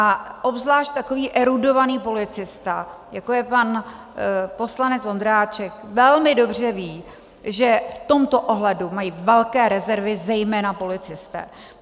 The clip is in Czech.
A obzvlášť takový erudovaný policista, jako je pan poslanec Ondráček, velmi dobře ví, že v tomto ohledu mají velké rezervy zejména policisté.